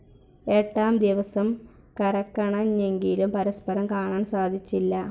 എട്ടാം ദിവസം കരക്കണഞ്ഞെങ്കിലും പരസ്പരം കാണാൻ സാധിച്ചില്ല.